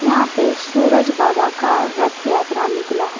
यहां पे सूरज बाबा का रथ यात्रा निकला है।